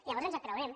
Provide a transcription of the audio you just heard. llavors ens el creurem